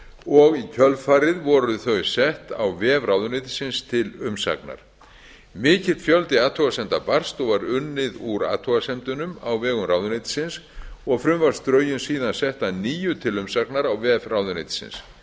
og í kjölfarið voru þau sett á vef ráðuneytisins til umsagnar mikill fjöldi athugasemda barst og var unnið úr athugasemdunum a vegum ráðuneytisins og frumvarpsdrögin síðan sett að nýju til umsagnar á vef ráðuneytisins